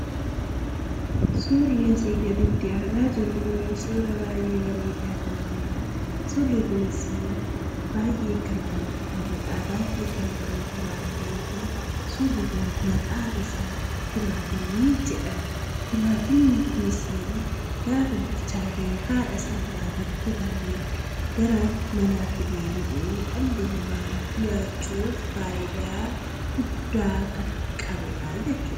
Suurri asii gaditti argaa jirru kun suuraa baay'ee bareedaa kan ta'edha. Suurri kunis baay'ee kan namatti toludha baay'ee kan bareedudha. Suurri kun maqaan isaa timaatimii jedhama. Timaatimiin kun gaafa bilchaatee haadha isaarraa kutame gara manaatti deebi'uudhaan nyaachuun fayidaa guddaa kan qabudha.